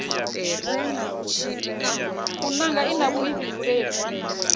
u nanga i na vhuifhinduleli